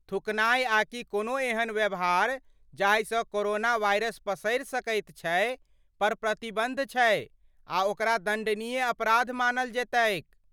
थूकनाय आकि कोनो एहन व्यवहार जाहिसँ कोरोना वाइरस पसरि सकैत छै, पर प्रतिबन्ध छै आ ओकरा दण्डनीय अपराध मानल जयतैक ।